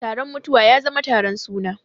Taron mutuwa ya zama taron suna.